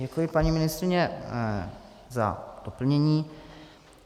Děkuji, paní ministryně, za doplnění.